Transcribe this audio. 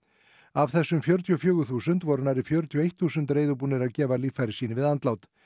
af þessum fjörutíu og fjögur þúsund voru nærri fjörutíu og eitt þúsund reiðubúnir að gefa líffæri sín við andlát